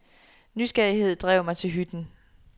Nysgerrighed drev mig til hytten.